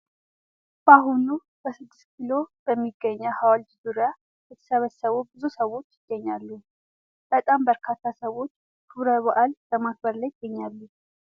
በአሁኑ በስድስት ኪሎ በሚገኘው ሀውልት ዙሪያ የተሰበሰቡ ብዙ ሰዎች ይገኛሉ ። በጣም በርካታ ሰዎች ክብረ በዓል በማክበር ላይ ይገኛሉ ።